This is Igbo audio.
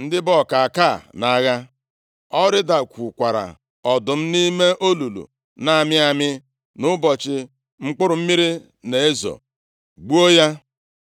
ndị bụ ọkaka nʼagha. O rịdakwukwara ọdụm nʼime olulu na-amị amị nʼụbọchị mkpụrụ mmiri na-ezo, gbuo ya.